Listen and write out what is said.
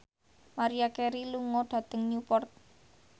Maria Carey lunga dhateng Newport